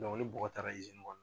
ni bɔgɔ taara kɔnɔ